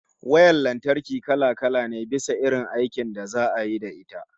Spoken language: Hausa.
Wayar lantarki kala-kala ne, bisa irin aikin da za'a yi da ita